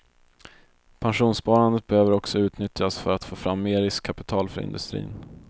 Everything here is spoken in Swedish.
Pensionssparandet behöver också utnyttjas för att få fram mer riskkapital för industrin.